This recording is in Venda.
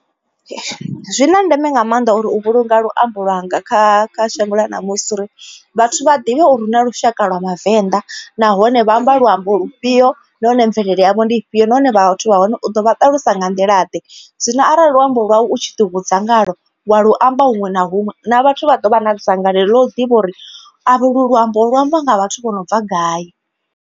Zwi na ndeme nga maanḓa uri u vhulunga luambo lwanga kha shango ḽa ṋamusi uri vhathu vha ḓivhe uri hu na lushaka lwa vhavenḓa. Nahone vha amba luambo lufhio nahone mvelele yavho ndi ifhio nahone vha vhathu vha hone u ḓo vha ṱalusa nga nḓila ḓe. Zwino arali luambo lwau u tshi ḓivhudza ngalwo wa luamba huṅwe na huṅwe na vhathu vha ḓo vha na dzangalelo ḽa u ḓivha uri avhe u lu luambo lu ambiwa nga vhathu vho no bva gai.